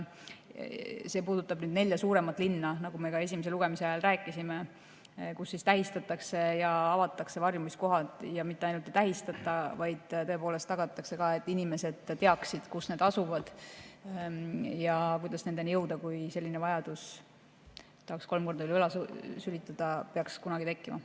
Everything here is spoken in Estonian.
See puudutab nelja suuremat linna, nagu me ka esimese lugemise ajal rääkisime, kus tähistatakse ja avatakse varjumiskohad, ja mitte ainult ei tähistata, vaid tõepoolest tagatakse, et inimesed teaksid, kus need asuvad ja kuidas nendeni jõuda, kui selline vajadus – tahaks kolm korda üle õla sülitada – peaks kunagi tekkima.